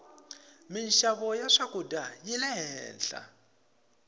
minxavo ya swakudya yile henhla